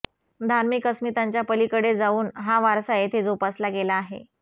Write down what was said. धार्मिक अस्मितांच्या पलीकडे जाऊन हा वारसा येथे जोपासला गेला आहे